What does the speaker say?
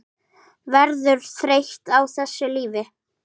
Verður þreytt á þessu lífi.